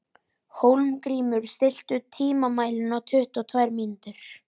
Hólmgrímur, stilltu tímamælinn á tuttugu og tvær mínútur.